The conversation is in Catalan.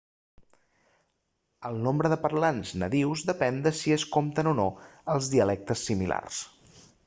el nombre de parlants nadius depèn de si es compten o no els dialectes similars